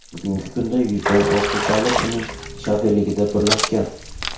Bugungi kunda yuzdan ortiq davlat uning shafeligida birlashgan.